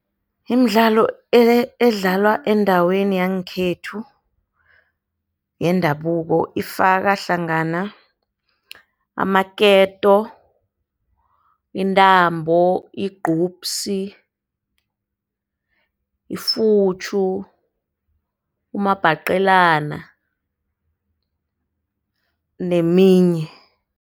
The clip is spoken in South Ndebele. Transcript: Imidlalo edlalwa endaweni yangekhethu yendabuko ifaka hlangana amaketo, intambo, igcubsi, ifutjhu, umabhaqelana neminye.